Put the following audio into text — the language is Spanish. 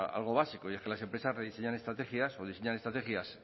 algo básico y es que las empresas rediseñan estrategias o diseñan estrategias